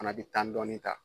Fana bi tan dɔɔni ta